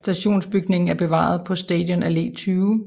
Stationsbygningen er bevaret på Stadion Alle 20